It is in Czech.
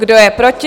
Kdo je proti?